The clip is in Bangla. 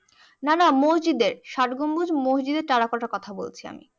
না না মসজিদের ষাট গম্বুজ মসজিদের টেরাকোটার কথা বলছি আমি